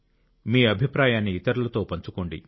మీ అభిప్రాయాన్ని ఇతరులతో పంచుకోండి